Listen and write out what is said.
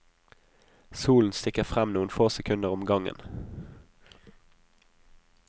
Solen stikker frem noen få sekunder om gangen.